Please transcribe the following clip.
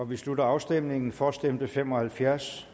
vi slutter afstemningen for stemte fem og halvfjerds